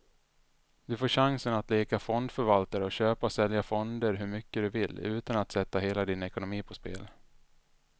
Du får chansen att leka fondförvaltare och köpa och sälja fonder hur mycket du vill, utan att sätta hela din ekonomi på spel.